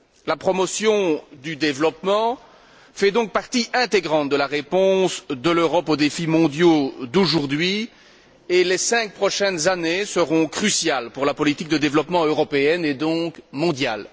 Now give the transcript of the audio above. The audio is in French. La promotion du développement fait donc partie intégrante de la réponse de l'Europe aux défis mondiaux d'aujourd'hui et les cinq prochaines années seront cruciales pour la politique de développement européenne et donc mondiale.